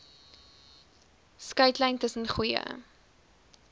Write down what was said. skeidslyn tussen goeie